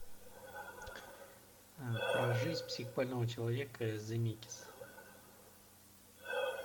про жизнь психбольного человека земекис